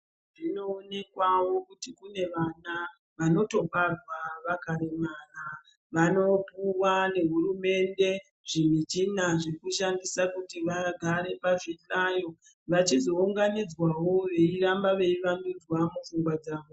Zvinoonekwawo kuti kune vana, vanotobarwa vakaremara. Vanopuwa nehurumende, zvimichina zvekushandisa kuti vagare pazvihlayo, vachizounganidzwawo veiramba veivandudzwa pfungwa dzavo.